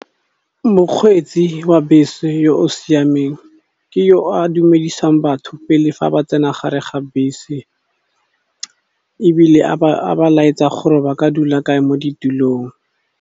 Mokgweetsi wa bese yo o siameng ke yo a dumedisang batho pele fa ba tsena gare ga bese, ebile a ba laetsa gore ba ka dula kae mo ditulong.